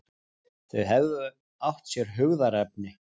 Þau hefðu átt sér hugðarefni.